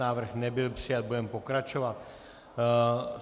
Návrh nebyl přijat, budeme pokračovat.